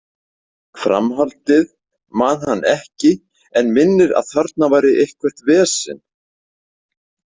Framhaldið man hann ekki en minnir að þarna væri eitthvert vesen.